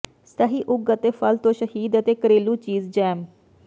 ਸਹੀ ਉਗ ਅਤੇ ਫਲ ਤੋਂ ਸ਼ਹਿਦ ਅਤੇ ਘਰੇਲੂ ਚੀਜ਼ ਜੈਮ